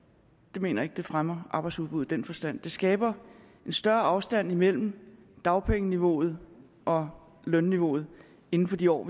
jeg mener ikke det fremmer arbejdsudbuddet i den forstand det skaber en større afstand imellem dagpengeniveauet og lønniveauet inden for de år